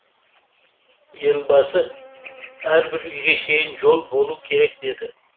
елбасы әрбір үйге шейін жол болу керек деді